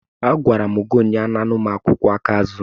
Agwara m gị ụnyaahụ, anana ụmụ akwụkwọ aka azụ!